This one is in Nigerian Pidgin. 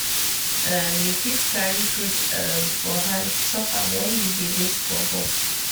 um you fit carry fruit um for hand chop am wen you dey wait for bus.